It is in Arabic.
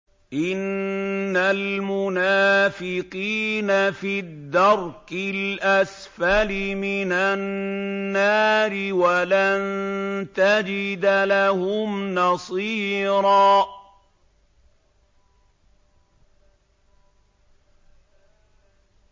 إِنَّ الْمُنَافِقِينَ فِي الدَّرْكِ الْأَسْفَلِ مِنَ النَّارِ وَلَن تَجِدَ لَهُمْ نَصِيرًا